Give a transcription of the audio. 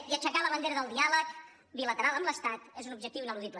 i aixecar la bandera del diàleg bilateral amb l’estat és un objectiu ineludible